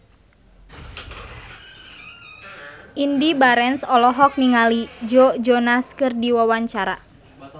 Indy Barens olohok ningali Joe Jonas keur diwawancara